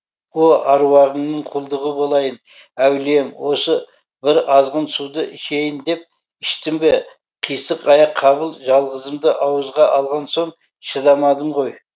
о аруағыңның құлдығы болайын әулием осы бір азғын суды ішейін деп іштім бе қисық аяқ қабыл жалғызымды ауызға алған соң шыдамадым ғой